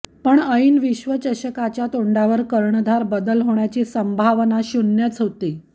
पण ऐन विश्वचषकाच्या तोंडावर कर्णधार बदल होण्याची संभावना शून्यच होती